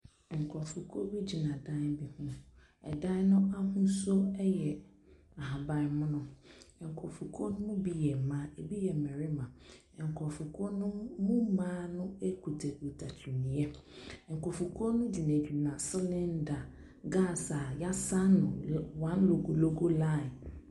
Nkrɔfokuo bi gyina dan bi ho. Ɛdan no ahosuo yɛ ahabanmono. Nkrɔfokuo no mu bi yɛ mmaa, ebi yɛ mmarima. Nkrɔfokuo no mu mmaa no kutakuta kyiniiɛ. Nkrɔfokuo no gyinagyina selenda gas a yɛsan no one logologo line.